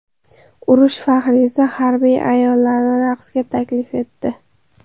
Urush faxriysi harbiy ayollarni raqsga taklif etdi.